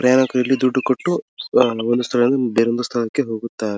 ಪ್ರಯಾಣಿಕರು ಇಲ್ಲಿ ದುಡ್ಡು ಕೊಟ್ಟು ಅಹ್ ಒಂದು ಸ್ಥಳದಿಂದ ಬೇರೊಂದು ಸ್ಥಳಕ್ಕೆ ಹೊಗುತ್ತಾರೆ.